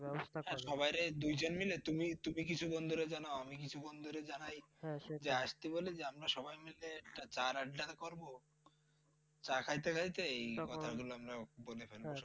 সবাইরে দুই জন মিলে তুমি কিছু বন্ধুরে জানাও আমি কিছু বন্ধুরে জানাই। যে আসতে বলে আমরা সবাই মিলে চায়ের আড্ডা করর। চা খাইতে খাইতে এই কথা গুলা বলে ফেলবো সবাইকে।